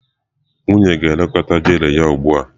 Nwunye na-ekekọta gele ya ugbu a.